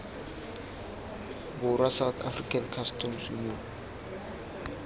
borwa south african customs union